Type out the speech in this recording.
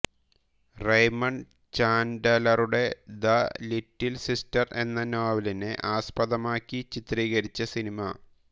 Raymond ചാൻഡലറുടെ The Little Sister എന്ന നോവലിനെ ആസ്പദമാക്കി ചിത്രീകരിച്ച സിനിമ